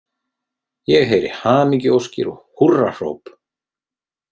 Ég heyri hamingjuóskir og húrrahróp.